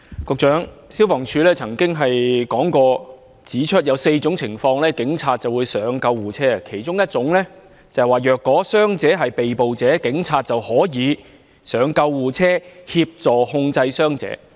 局長，消防處曾經指出，在4種情況下警察會登上救護車，其中一種情況是：若傷者是被捕者，警察便可以登上救護車協助控制傷者。